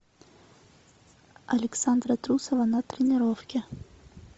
александра трусова на тренировке